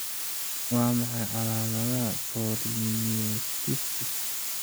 Waa maxay calaamadaha polymyositis?